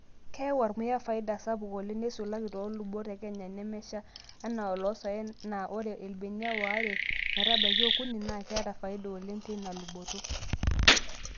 Keyau ormuya faida sapuk oleng neisulaki too lubot e kenya nemesha anaa oloosaen naa ore irbenia waare metabaiki okuni naa keeta faida oleng teina luboto.